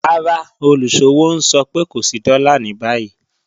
Rárá, olúṣọ̀wọ̀ n sọ̀ pẹ̀ kò sí dóla ni báyi